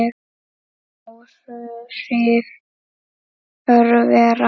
Áhrif örvera